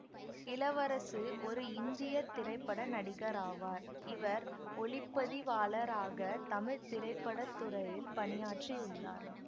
இளவரசு ஒரு இந்திய திரைப்பட நடிகராவார் இவர் ஒளிப்பதிவாளராக தமிழ் திரைப்பட துறையில் பணியாற்றியுள்ளார்